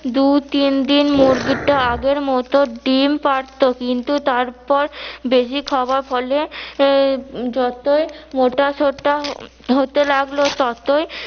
দু তিনদিন মুরগিটা আগের মতো ডিম পারতো কিন্তু তারপর বেশি খাবার ফলে যতই মোটাসোটা হতে লাগলো ততই